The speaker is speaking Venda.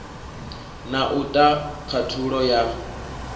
na u ta khathulo ya